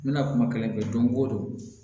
N bɛna kuma kelen kɛ don go don